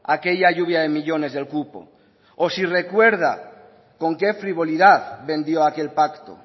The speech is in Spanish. aquella lluvia de millónes del cupo o si recuerda con qué frivolidad vendió aquel pacto